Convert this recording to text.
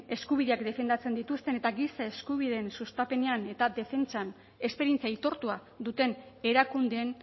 eskubidea defendatzen dituzten eta giza eskubideen sustapenean eta defentsan esperientzia aitortua duten erakundeen